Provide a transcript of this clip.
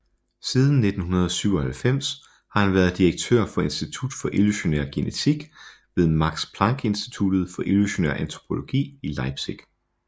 Siden 1997 har han været direktør for Institut for Evolutionær Genetik ved Max Planck Instituttet for Evolutionær Antropologi i Leipzig